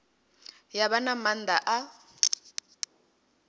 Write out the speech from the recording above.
ya vha na maanḓa a